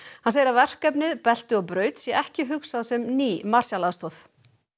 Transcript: hann segir að verkefnið belti og braut sé ekki hugsað sem ný Marshall aðstoð